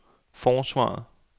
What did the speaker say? forsvaret